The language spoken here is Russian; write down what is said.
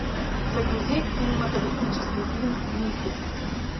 загрузи кинематографический фильм мифы